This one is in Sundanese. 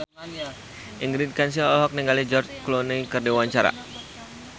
Ingrid Kansil olohok ningali George Clooney keur diwawancara